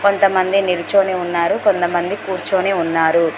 కొంతమంది నిల్చొని ఉన్నారు కొంతమంది కూర్చొని ఉన్నారు.